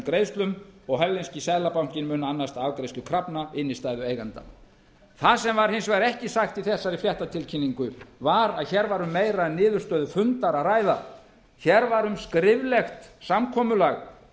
greiðslum og hollenski seðlabankinn mun annast afgreiðslu krafna innstæðueiganda það sem var hins vegar ekki sagt í þessari fréttatilkynningu var að hér var um meira en niðurstöðu fundar að ræða hér var um skriflegt samkomulag